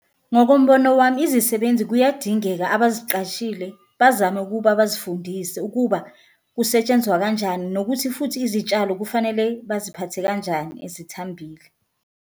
Ngokombono wami izisebenzi kuyadingeka abaziqashile bazame ukuba bazifundise ukuba kusetshenzwa kanjani, nokuthi futhi izitshalo kufanele baziphathe kanjani ezithambile.